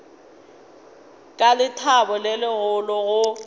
ka lethabo le legolo go